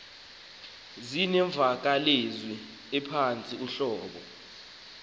zinemvakalezwi ephantsi uhlobo